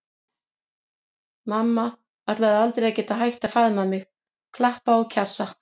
Mamma ætlaði aldrei að geta hætt að faðma mig, klappa og kjassa.